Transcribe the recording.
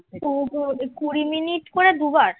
তার ওপর ওই কুড়ি মিনিট করে দুবার